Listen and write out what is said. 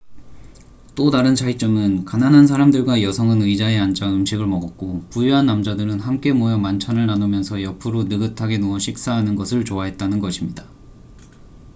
또 다른 차이점은 가난한 사람들과 여성은 의자에 앉아 음식을 먹었고 부유한 남자들은 함께 모여 만찬을 나누면서 옆으로 느긋하게 누워 식사하는 것을 좋아했다는 것입니다